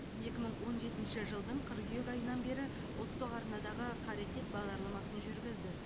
екі мың он жетінші жылдың қыркүйек айынан бері ұлттық арнадағы қарекет бағдарламасын жүргізді